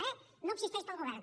e no existeix pel govern